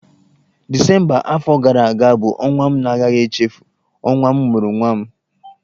Disemba afọ gara aga bụ ọnwa m na-agaghị echefu, ọnwa m mụrụ nwa m.